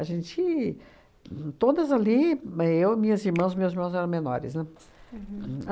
A gente... Todas ali, me eu e minhas irmãs, meus irmãos eram menores, né? Uhum.